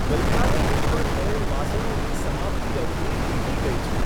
ગઈ કાલે ડિલિવર થયેલ વાસણોની સમાપ્તિ અવધિ વીતી ગઈ છે.